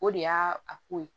O de y'a a ko ye